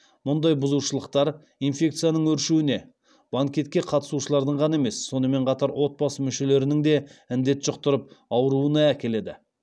мұндай бұзушылықтар инфекцияның өршуіне банкетке қатысушылардың ғана емес сонымен қатар отбасы мүшелерінің де індет жұқтырып ауыруына әкеледі